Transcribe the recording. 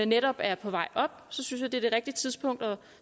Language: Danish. netop er på vej op så jeg synes det er det rigtige tidspunkt at